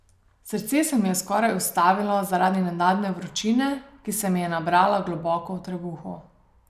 Srce se mi je skoraj ustavilo zaradi nenadne vročine, ki se mi je nabrala globoko v trebuhu.